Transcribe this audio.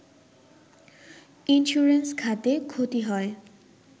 insurance খাতে ক্ষতি হয়